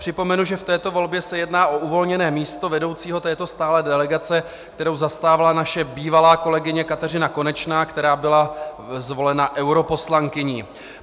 Připomenu, že v této volbě se jedná o uvolněné místo vedoucího této stálé delegace, kterou zastávala naše bývalá kolegyně Kateřina Konečná, která byla zvolena europoslankyní.